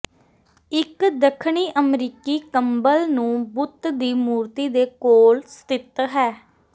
ਇਕ ਦੱਖਣੀ ਅਮਰੀਕੀ ਕੰਬਲ ਨੂੰ ਬੁੱਤ ਦੀ ਮੂਰਤੀ ਦੇ ਕੋਲ ਸਥਿਤ ਹੈ